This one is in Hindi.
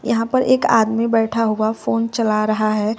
यहां पर एक आदमी बैठा हुआ फोन चला रहा है।